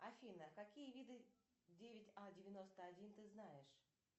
афина какие виды девять а девяносто один ты знаешь